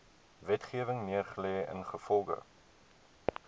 wetgewing neergelê ingevolge